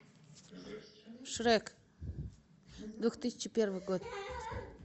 шрек две тысячи первый год